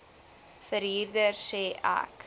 verhuurder sê ek